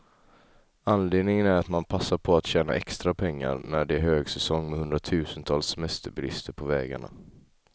Anledningen är att man passar på att tjäna extra pengar, när det är högsäsong med hundratusentals semesterbilister på vägarna.